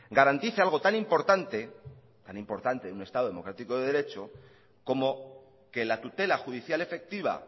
garantice algo tan importante tan importante en un estado democrático de derecho como que la tutela judicial efectiva